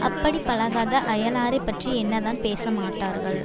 அப்படி பழகாத அயலாரைப் பற்றி என்னதான் பேச மாட்டார்கள்